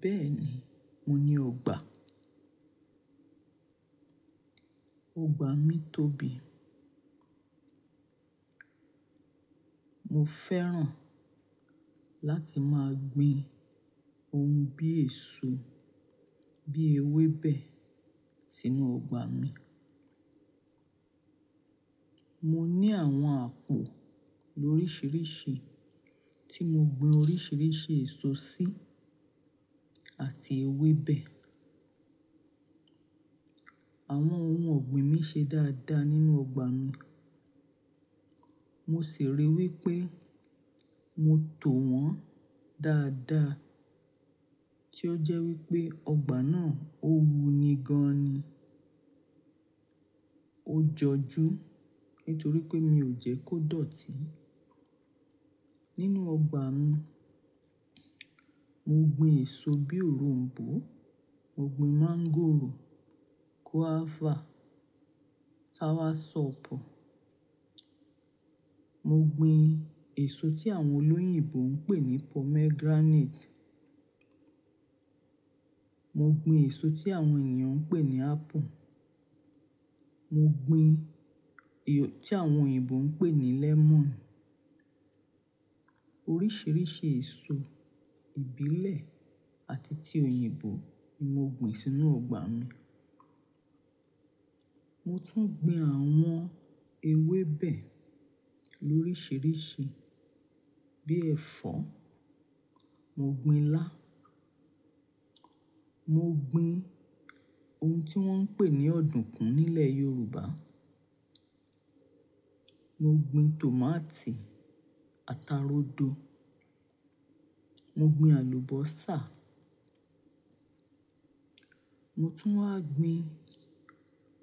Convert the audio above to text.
Bẹ́ẹ̀ni, mo ní ọgbà. Ọgbà mi tóbi. Mo fẹ́ràn láti máa gbin ohun bí èso, bí ewé bẹ̀e sínú ọgbà mi. Mo ní àwọn àpò lóríṣiríṣi tí mo gbin oríṣiríṣi èso sí àti ewébẹ̀. Àwọn ohun ọ̀gbìn mi ṣe dáadáa nínú ọgbà mi. Mo sì rí i wí pé mo tò wọ́n dáadáa tí ó jẹ́ wí pé ọgbà náà ó wu ni gan ni. Ó jọju nítorí pé mi ò jẹ́ kó dọ̀tí. Nínú ọgbà mi, mo gbin èso bí òronbó, mo gbin máńgòrò, guava, soursop. Mo gbin èso tí àwọn olóyìnbo ń pè ní pomegranate. Mo gbin èso tí àwọn ènìyàn ń pè ní apple. Mo gbin èso tí àwọn òyìnbó ń pè ní lemon. Oríṣiríṣi èso ìbílẹ̀ àti ti òyìnbó ni mo gbin sínú ọgbà mi. Mo tún gbin àwọn ewé bẹ̀e lóríṣiríṣi bí ẹ̀fọ́, mo gbin ilá, mo gbin ohun tí wọ́n ń pè ní ọ̀dùnkún nílẹ̀ Yorùbá. Mo gbin tòmátì, ata rodo, mo gbin àlùbọ́sà. Mo tún wá gbin